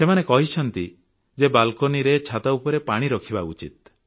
ସେମାନେ କହିଛନ୍ତି ଯେ ବାଲ୍କନିରେ ଛାତ ଉପରେ ପାଣି ରଖିବା ଦରକାର